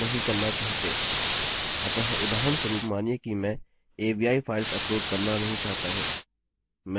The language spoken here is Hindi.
मैं यहाँ क्या कर सकता हूँ कि यदि एरर शून्य से बड़ी है तो फाइल्स अपलोड न करें